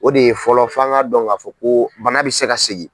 O de ye fɔlɔ fɔ an k'a dɔn k'a fɔ ko bana bɛ se ka segin.